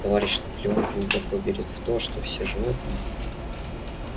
товарищ наполеон глубоко верит в то что все животные